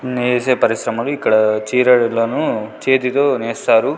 నేసే పరిశ్రమలు ఇక్కడ చీరలను చేతితో నేస్తారు.